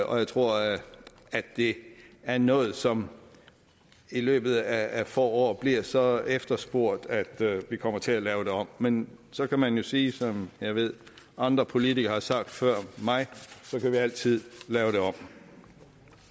og jeg tror at det er noget som i løbet af få år bliver så efterspurgt at vi kommer til at lave det om men så kan man jo sige som jeg ved andre politikere har sagt før mig at så kan vi altid lave